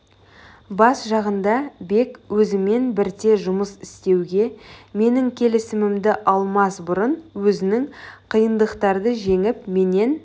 бас жағында бек өзімен бірте жұмыс істеуге менің келісімімді алмас бұрын өзінің қиындықтарды жеңіп менен